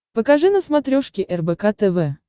покажи на смотрешке рбк тв